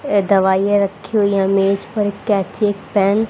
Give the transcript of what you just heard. ये दवाइयां रखी हुई मेज पर एक कैंची एक पेन --